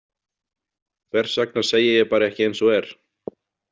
Hvers vegna segi ég bara ekki eins og er?